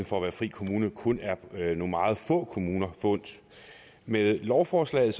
for at være frikommune kun er nogle meget få kommuner forundt med lovforslaget